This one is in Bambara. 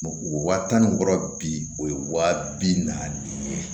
O wa tan ni wɔɔrɔ bi o ye wa bi naani ye